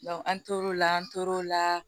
an tor'o la an tor'o la